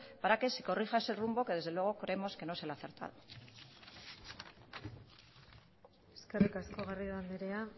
para que se corrija ese rumbo que desde luego creemos que no es el acertado eskerrik asko garrido andrea